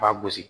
B'a gosi